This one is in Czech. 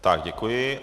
Tak děkuji.